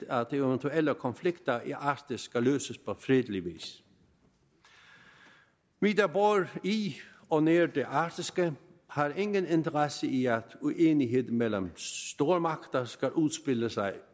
at de eventuelle konflikter i arktis skal løses på fredelig vis vi der bor i og nær det arktiske har ingen interesse i at uenighed mellem stormagter skal udspille sig